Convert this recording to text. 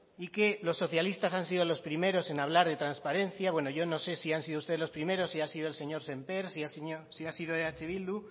y que los socialistas han sido los primeros en hablar de transparencia bueno yo no sé si han sido ustedes los primeros si ha sido el señor sémper si ha sido eh bildu